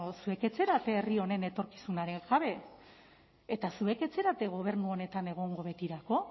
zuek ez zarete herri honen etorkizunaren jabe eta zuek ez zarete gobernu honetan egongo betirako